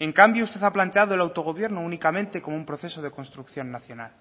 en cambio usted ha planteado el autogobierno únicamente como un proceso de construcción nacional